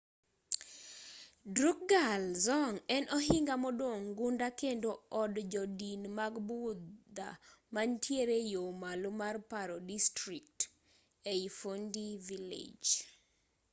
drukgyal dzong en ohinga modong' gunda kendo od jodin mag budha mantiere yo malo mar paro district ei phondey village